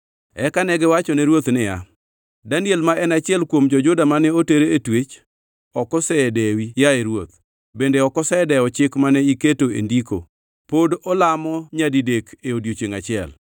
Eka negiwachone ruoth niya, “Daniel ma en achiel kuom jo-Juda mane oter e twech, ok osedewi, yaye ruoth, bende ok osedewo chik mane iketo e ndiko. Pod olamo kido nyadidek e odiechiengʼ achiel.”